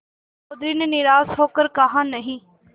चौधरी ने निराश हो कर कहानहीं